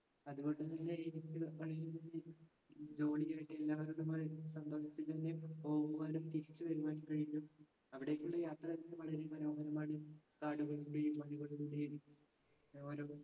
അതുകൊണ്ടു തന്നെ jolly ആയിട്ട് സന്തോഷത്തിൽ തന്നെ പോകുവാനും തിരിച്ചുവരുവാനും കഴിഞ്ഞു. അവിടെക്കൊരു യാത്ര വളരെ മനോഹരമാണ്. കാടുകളും ഓരോ